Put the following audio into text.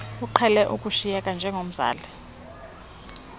uqhele ukushiyeka njengomzali